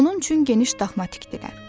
Onun üçün geniş daxma tikdilər.